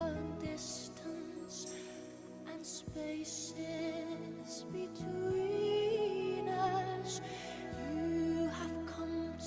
Zoom লেন্সের ক্ষেত্রে আরেকটি অসুবিধার জায়গা হল এ ক্ষেত্রে লেন্সের সর্বাধিক অ্যাপারচার গতি সাধারণত কম থাকে।